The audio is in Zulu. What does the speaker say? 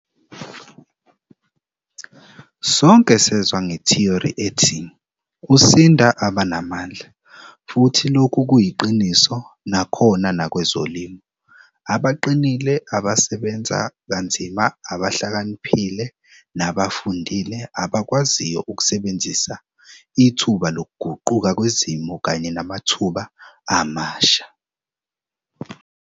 Sonke sezwa ngethiyori ethi'usinda abanamandla' futhi lokhu kuyiqiniso nakhona nakwezolimo. Abaqinile, abasebenza kanzima abahlakaniphile nabafundile abakwaziyo ukusebenzisa ithuba lokuguquka kwezimo kanye namathuba amasha.